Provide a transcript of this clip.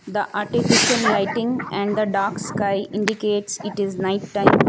The artificial lighting and the dark sky indicates it is night time.